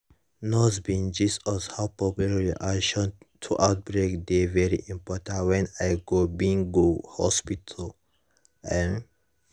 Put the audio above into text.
nurse bin gist us how public reaction to outbreak dey very helpful wen i go bin go hospital um